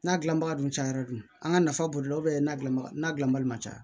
N'a gilanbaga dun cayara dun an ka nafa b'o la n'a dilanbaga n'a gilan bali man ca